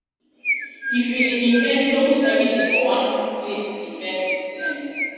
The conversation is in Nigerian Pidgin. if you dey invest no put everything for one place invest with sense.